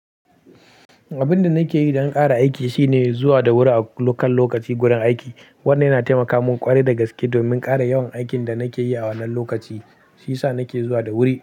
Abin da nake yi don ƙara aiki shine zuwa da wuri a kan lokaci gurin aiki. Wannan yana taimaka mun ƙwarai da gaske domin ƙara yawan aikin da nake yi a wannan lokaci, shi ya sa nake zuwa da wuri.